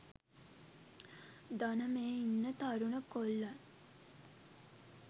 දන මේ ඉන්න තරුණ කොල්ලන්